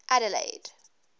adelaide